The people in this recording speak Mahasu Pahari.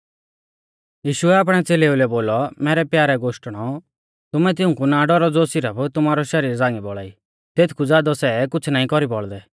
यीशुऐ आपणै च़ेलेउलै बोलौ मैरै प्यारै गोश्टणो तुमै तिऊंकु ना डौरौ ज़ो सिरफ तुमारौ शरीर झ़ांगी बौल़ा ई तेथकु ज़ादौ सै कुछ़ नाईं कौरी बौल़दै